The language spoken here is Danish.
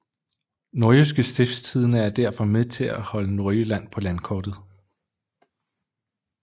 Nordjyske Stiftstidende er derfor med til at holde Nordjylland på landkortet